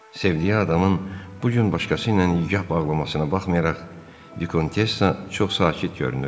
Sevdiyi adamın bu gün başqası ilə nikah bağlamasına baxmayaraq, Dikontessa çox sakit görünürdü.